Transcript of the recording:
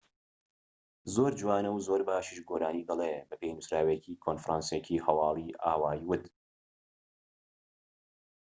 "زۆر جوانە و زۆر باشیش گۆرانی دەڵێت، ‎بە پێی نووسراوێکی کۆنفرانسێکی هەواڵی ئاوای ووت